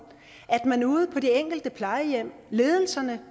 at man ude på de enkelte plejehjem i ledelserne